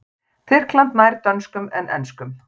Tyrkland nær dönskum en enskum.